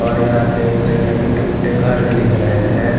और यहां पे कई सारे टूटे फूटे घर भी दिख रहे है।